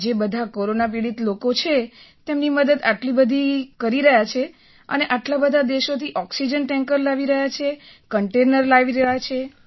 જે બધા કોરોના પીડિત લોકો છે તેમની મદદ આટલી બધી કરી રહ્યા છે અને આટલા બધા દેશોથી ઑક્સિજન ટૅન્કર લાવી રહ્યા છે કન્ટેઇનર લાવી રહ્યા છે